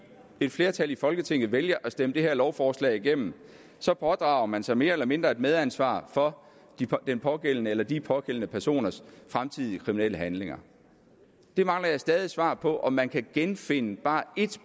et flertal i folketinget vælger at stemme lovforslaget igennem så pådrager man sig mere eller mindre et medansvar for den pågældende persons eller de pågældende personers fremtidige kriminelle handlinger jeg mangler stadig svar på om man kan genfinde bare ét